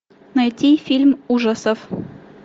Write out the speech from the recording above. найти фильм ужасов